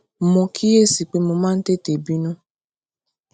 mo kíyè sí i pé mo máa ń tètè bínú